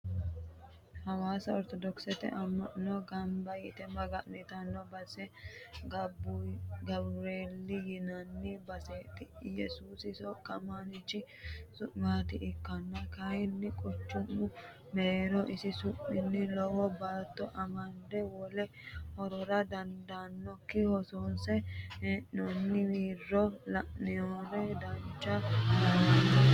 Hawaasa orthodokkisete ama'no gamba yte maga'nittano base Gabureli yinanni baseti yesuusi soqqamanchi su'mati ikkonna kayinni quchumu mereero isi su'minni lowo baatto amande wole horora daddaloho hosinsanni hee'nonni wirro la'niro dancha lawanoe.